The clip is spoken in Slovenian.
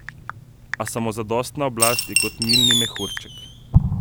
A samozadostna oblast je kot milni mehurček.